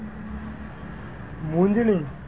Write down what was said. મૂંજની,